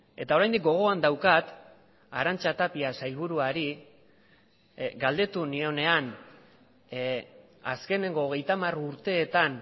eta oraindik gogoan daukat arantxa tapia sailburuari galdetu nionean azkeneko hogeita hamar urteetan